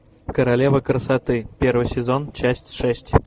королева красоты первый сезон часть шесть